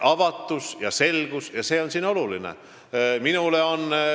Avatus ja selgus on siin olulised.